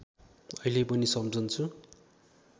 अहिले पनि सम्झन्छु